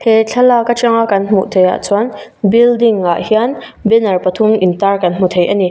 he thlalak atang a kan hmuh theih ah chuan building ah hian banner pathum in tar kan hmu thei ani.